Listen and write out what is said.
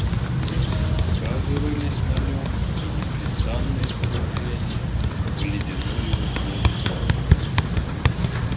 сказывались на нём и непрестанные погружения в ледяную воду